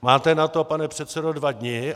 Máte na to, pane předsedo, dva dni.